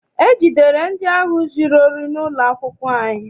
E jidere ndị ahụ zụrụ ohi n'ụlọ akwụkwọ anyị.